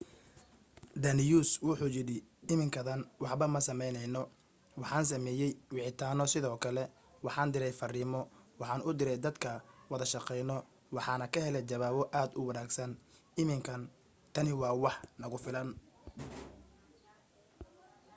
danius wuxuu yidhi iminkadan waxba ma sameyneyno waxaan sameeyey wicitaano sidoo kale waxaan direy fariimo waxaan u direy dadka wada shaqeyno waxaana ka heley jawaabo aad u wanagsan iminkana tani waa wax nagu filan